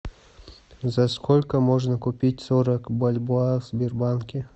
за сколько можно купить сорок бальбоа в сбербанке